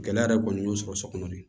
Gɛlɛya yɛrɛ kɔni y'o sɔrɔ sokɔnɔ de